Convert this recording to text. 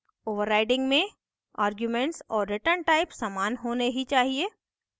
overriding में arguments और returntype समान होने ही चाहिए